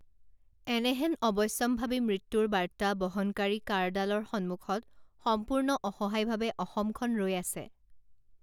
এনেহেন অৱশ্যাম্ভাৱী মৃত্যুৰ বাৰ্তা বহনকাৰী কাঁড়ডালৰ সন্মুখত সম্পূৰ্ণ অসহায়ভাৱে অসমখন ৰৈ আছে